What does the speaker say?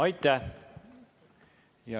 Aitäh!